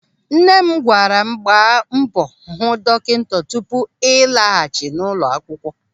Nne m gwara m, "Gbaa mbọ hụ dọkịta tupu ị laghachi n'ụlọ akwụkwọ".